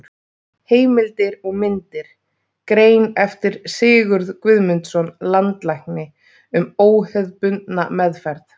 Heimildir og myndir: Grein eftir Sigurð Guðmundsson, landlækni, um óhefðbundna meðferð.